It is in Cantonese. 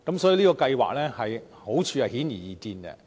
所以，這項計劃的好處顯而易見。